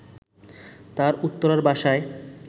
তার উত্তরার বাসায়